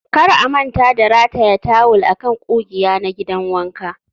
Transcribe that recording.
kar a manta da rataya tawul a kan ƙugiya na gidan wanka